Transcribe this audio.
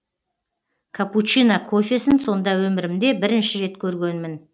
каппучино кофесін сонда өмірімде бірінші рет көргөнмін